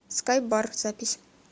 скай бар запись